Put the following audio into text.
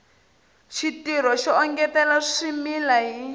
xitirho xo engetela swimila hi